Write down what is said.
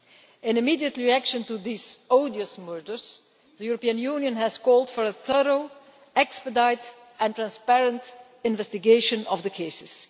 In an immediate reaction to these odious murders, the European Union has called for a thorough, expedite and transparent investigation of the cases.